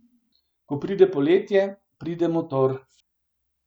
Ko pride poletje, pride motor.